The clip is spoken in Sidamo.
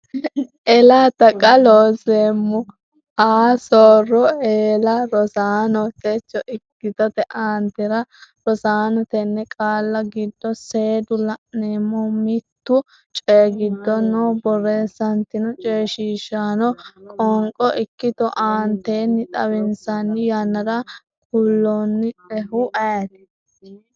ela Taqa Looseemmo a soora eela Rosaano techo ikkitote aantere Rosaano tenne qaalla giddo seedde la’neemmo, mittu coyi giddo noo borreessantinno coyishiishaano qoonqo ikkito aantetenni xawinsanni yannara kulannoehu ayeeti?